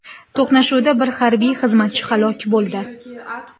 To‘qnashuvda bir harbiy xizmatchi halok bo‘ldi.